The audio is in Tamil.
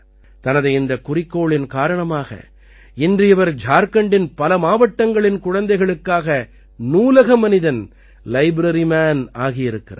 தனது இந்தக் குறிக்கோளின் காரணமாக இன்று இவர் ஜார்க்கண்டின் பல மாவட்டங்களின் குழந்தைகளுக்காக நூலக மனிதன் லைப்ரரி மான் ஆகியிருக்கிறார்